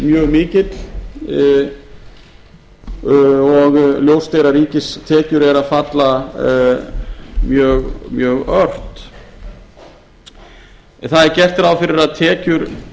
mjög mikill og ljóst er að ríkistekjur eru að falla mjög ört það er gert ráð fyrir að tekjur